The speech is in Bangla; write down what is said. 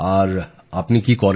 আর আপনি কী করেন